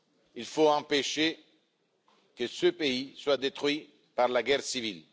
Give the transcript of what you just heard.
il faut empêcher que ce pays soit détruit par la guerre civile.